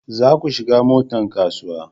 za ku shiga motan kasuwa